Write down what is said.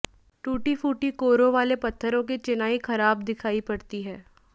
टूटी फूटी कोरोंवाले पत्थरों की चिनाई खराब दिखाई पड़ती है